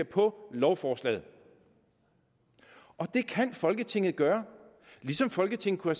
på lovforslaget det kan folketinget gøre ligesom folketinget kunne